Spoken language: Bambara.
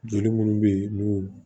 Joli munnu bɛ yen n'u